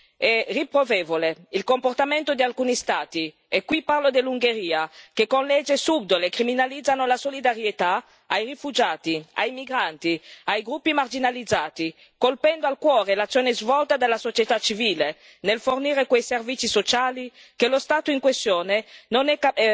È riprovevole il comportamento di alcuni Stati, e qui parlo dell'Ungheria, che con leggi subdole criminalizzano la solidarietà ai rifugiati, ai migranti, ai gruppi marginalizzati, colpendo al cuore l'azione svolta dalla società civile nel fornire quei servizi sociali che lo Stato in questione è